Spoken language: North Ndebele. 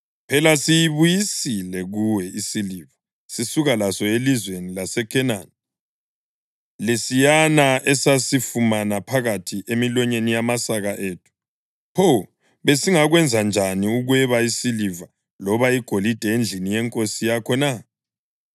Phela siyibuyisile kuwe isiliva sisuka laso elizweni laseKhenani, lesiyana esasifumana phakathi emilonyeni yamasaka ethu. Pho besingakwenza njani ukweba isiliva loba igolide endlini yenkosi yakho na?